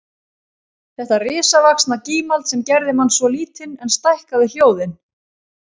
Þetta risavaxna gímald sem gerði mann svo lítinn en stækkaði hljóðin